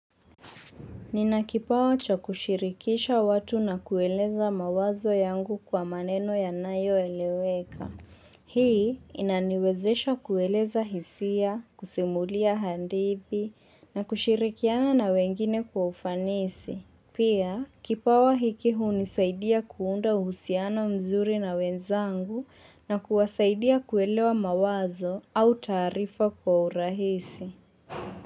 Nina kipawa cha kushirikisha watu na kueleza mawazo yangu kwa maneno ya nayo eleweka. Hii inaniwezesha kueleza hisia, kusimulia hadithi, na kushirikiana na wengine kwa ufanisi. Pia, kipawa hiki hunisaidia kuunda uhusiano mzuri na wenzangu na kuwasaidia kuelewa mawazo au tarifa kwa urahisi.